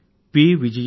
Shri P